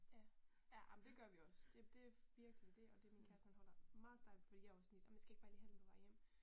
Ja. Ja ej men det gør vi også det det virkelig det og det min kæreste han holder meget stærk fordi jeg er også sådan lidt skal jeg ikke bare lige handle på vej hjem